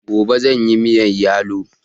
Gobe zanyi miyan yalo